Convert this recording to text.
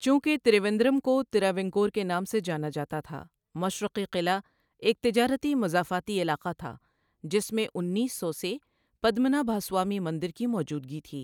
چونکہ ترویندرم کو تراوینکور کے نام سے جانا جاتا تھا، مشرقی قلعہ ایک تجارتی مضافاتی علاقہ تھا جس میں انیس سو سے پدمنابھاسوامی مندر کی موجودگی تھی۔